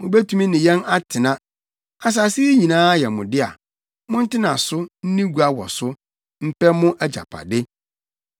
Mubetumi ne yɛn atena. Asase yi nyinaa yɛ mo dea. Montena so, nni gua wɔ so, mpɛ mu agyapade.”